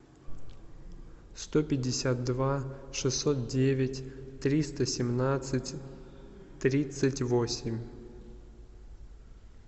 сто пятьдесят два шестьсот девять триста семнадцать тридцать восемь